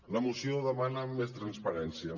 la moció demana més transparència